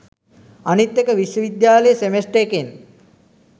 අනිත් එක විශ්ව විද්‍යාලෙ සෙමෙස්ටර් එකෙන්